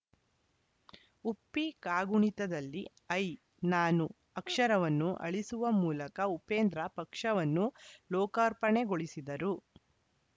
ಉಪ್ಪಿ ಕಾಗುಣಿತದಲ್ಲಿ ಐ ನಾನು ಅಕ್ಷರವನ್ನು ಅಳಿಸುವ ಮೂಲಕ ಉಪೇಂದ್ರ ಪಕ್ಷವನ್ನು ಲೋಕಾರ್ಪಣೆಗೊಳಿಸಿದರು